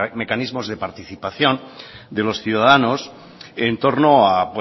mecanismos de participación de los ciudadanos en torno a